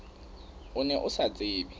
o ne o sa tsebe